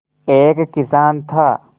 एक किसान था